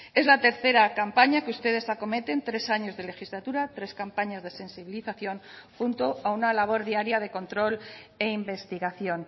es la tercera campaña que ustedes acometen tres años de legislatura tres campañas de sensibilización junto a una labor diaria de control e investigación